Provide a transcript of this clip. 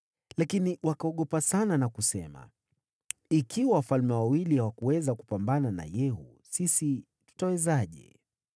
Lakini wakaogopa sana na kusema, “Ikiwa wafalme wawili hawakuweza kupambana na Yehu, sisi tutawezaje?”